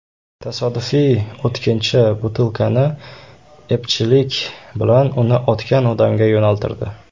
Tasodifiy o‘tkinchi butilkani epchillik bilan uni otgan odamga yo‘naltirdi.